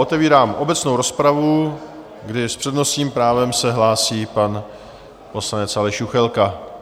Otevírám obecnou rozpravu, kdy s přednostním právem se hlásí pan poslanec Aleš Juchelka.